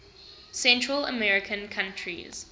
central american countries